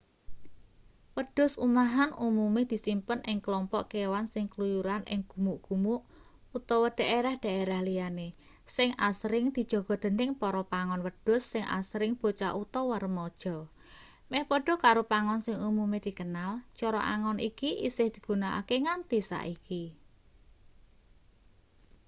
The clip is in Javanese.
wedhus umahan umume disimpen ing klompok kewan sing kluyuran ing gumuk-gumuk utawa dhaerah-dhaerah liyane sing asring dijaga dening para pangon wedhus sing asring bocah utawa remaja meh padha karo pangon sing umume dikenal cara angon iki isih digunakake nganti saiki